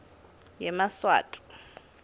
yemaswati